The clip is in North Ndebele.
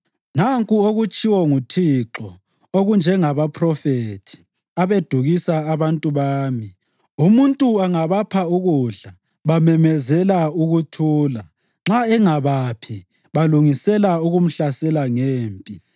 Nanku okutshiwo nguThixo: “Okunjengabaphrofethi, abedukisa abantu bami, umuntu angabapha ukudla, bamemezela ‘ukuthula’ nxa engabaphi balungisela ukumhlasela ngempi.